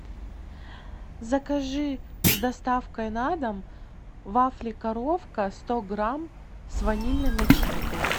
закажи с доставкой на дом вафли коровка сто грамм с ванильной начинкой